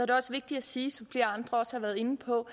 det også vigtigt at sige som flere andre også har været inde på